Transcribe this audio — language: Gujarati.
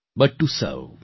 but to Sarva